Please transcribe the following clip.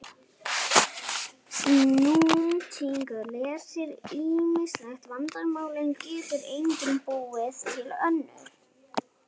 Nútímatækni leysir ýmis vandamál en getur einnig búið til önnur.